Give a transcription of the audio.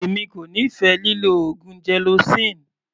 Èmi kò nífẹ̀ẹ́ lílọ oògùn gelocin.